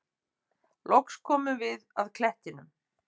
Loks komum við að klettinum.